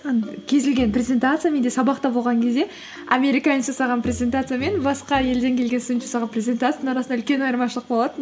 кез келген презентация менде сабақта болған кезде американец жасаған презентация мен басқа елдең келген студент жасаған презентацияның арасында үлкен айырмашылық болатын